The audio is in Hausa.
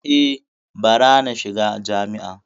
E, bara na shiga jami’a.